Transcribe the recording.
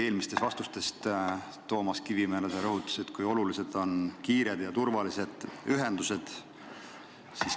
Oma vastuses Toomas Kivimäele sa rõhutasid, kui olulised on kiired ja turvalised ühendused.